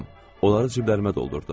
Onları ciblərimə doldurdum.